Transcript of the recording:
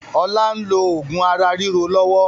Ọlá n lo oògùn ara ríro lọ́wọ́